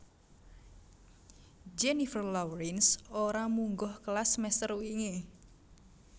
Jennifer Lawrence ora munggah kelas semester wingi